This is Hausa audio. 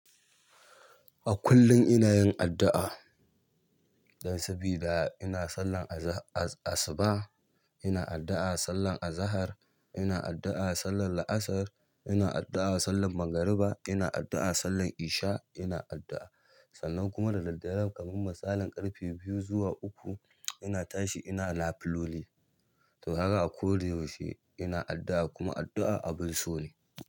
A kullun inayin addu'a don sabida ina sallan asuba ina addu'a, sallar azahar ina addu'a, sallar la'asar ina addu'a, sallar magriba ina addu'a, sallar isha ina addu'a. Sannan kuma da daddare kamin masalin ƙarfe biyu zuwa uku ina tashi ina na filoli. To kaga a koda yaushe ina addu'a kuma addu'a abun so ne.